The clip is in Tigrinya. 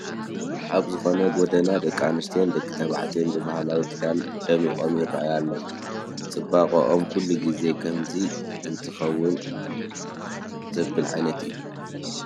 ኣብ ዝኾነ ጐደና ደቂ ኣንስትዮን ደቂ ተባዕትዮን ብባህላዊ ክዳን ደሚቖም ይርአዩ ኣለዉ፡፡ ፅባቐኦም ኩሉ ግዜ ከምዚ እንተዝኽወን ዘብል ዓይነት እዩ፡፡